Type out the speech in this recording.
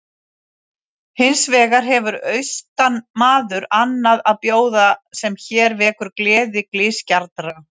Hins vegar hefur austanmaður annað að bjóða sem hér vekur gleði glysgjarnra.